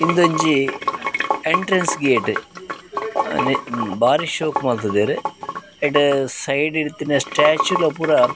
ಉಂದೊಂಜಿ entrance gate ಬಾರಿ ಶೋಕು ಮಲ್ತುದೆರ್ ಐಟ್ ಸೈಡ್ ಡಿತ್ತಿನ ಸ್ಟ್ಯಾಚ್ಯು ಲ ಪೂರ.